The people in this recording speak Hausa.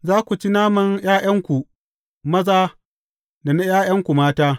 Za ku ci naman ’ya’yanku maza da na ’ya’yanku mata.